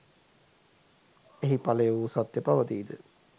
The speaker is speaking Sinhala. එහි ඵලය වූ සත්‍ය පවතීද?